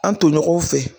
An tomɔgɔw fɛ